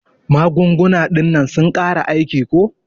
Magunguna dinnan sun kare aiki ko.